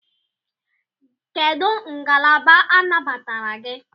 Kedụ ngalaba anabatara gị?